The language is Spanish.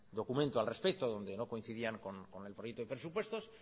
documento al respecto donde no coincidían con el proyecto de presupuestos